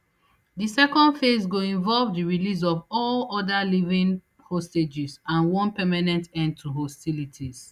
di second phase go involve di release of all oda living hostages and one permanent end to hostilities